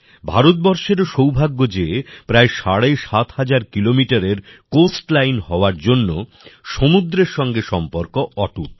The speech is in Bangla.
ভারতবর্ষেরও সৌভাগ্য যে প্রায় সাড়ে সাত হাজার কিলোমিটারের কোস্টলাইন হওয়ার জন্য সমুদ্রের সঙ্গে সম্পর্ক অটুট